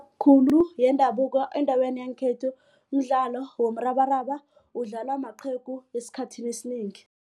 Khulu yendabuko endaweni yangekhethu umdlalo womrabaraba udlalwa maqhegu esikhathini esinengi.